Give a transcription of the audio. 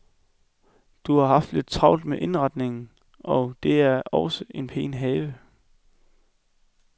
Du har haft lidt travlt med indretning og det er også en pæn have.